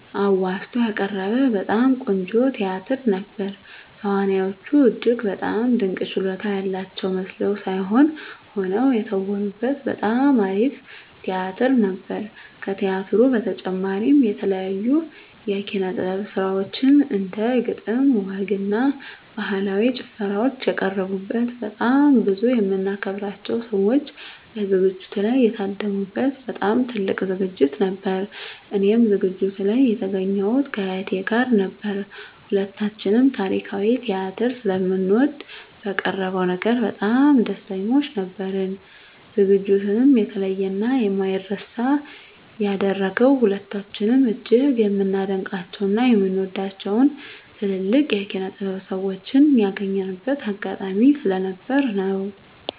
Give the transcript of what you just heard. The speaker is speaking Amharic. አዋዝቶ ያቀረበ በጣም ቆንጆ ቲያትር ነበር። ተዋናዮቹ እጅግ በጣም ድንቅ ችሎታ ያላቸው መስለው ሳይሆን ሆነው የተወኑበት በጣም አሪፍ ቲያትር ነበር። ከቲያትሩ በተጨማሪም የተለያዩ የኪነ - ጥበብ ስራዎች እንደ ግጥም፣ ወግ እና ባህላዊ ጭፈራዎች የቀረቡበት በጣም ብዙ የምናከብራቸው ሰዎች በዝግጅቱ ላይ የታደሙ በት በጣም ትልቅ ዝግጅት ነበር። እኔም ዝግጅቱ ላይ የተገኘሁት ከእህቴ ጋር ነበር። ሁለታችንም ታሪካዊ ቲያትር ስለምንወድ በቀረበው ነገር በጣም ደስተኞች ነበርን። ዝግጅቱንም የተለየ እና የማይረሳ ያደረገው ሁለታችንም እጅግ የምናደንቃቸው እና የምንወዳቸውን ትልልቅ የኪነ -ጥበብ ሰዎችን ያገኘንበት አጋጣሚ ስለነበር ነው።